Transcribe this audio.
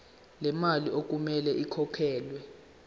lemali okumele ikhokhelwe